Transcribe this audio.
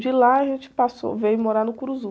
De lá a gente passou, veio morar no.